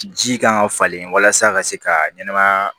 Ji kan ka falen walasa a ka se ka ɲɛnɛmaya